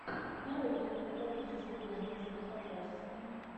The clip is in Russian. нарой кинематографическую ленту типа фантастики